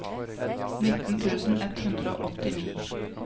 nittien tusen ett hundre og åttini